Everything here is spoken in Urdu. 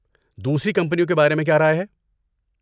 دوسری کمپنیوں کے بارے میں کیا رائے ہے؟